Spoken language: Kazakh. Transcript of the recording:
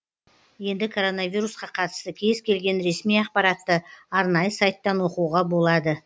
енді коронавирусқа қатысты кез келген ресми ақпаратты арнайы сайттан оқуға болады